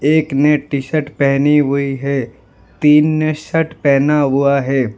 एक ने T shirt पहनी हुई है तीन ने शर्ट पहना हुआ है।